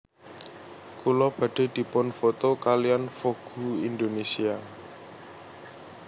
Kula badhe dipun foto kaliyan Vogue Indonesia